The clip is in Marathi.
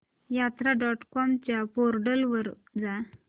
यात्रा डॉट कॉम च्या पोर्टल वर जा